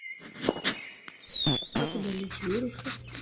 как удалить вирусы